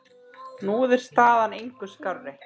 Nú er staðan engu skárri.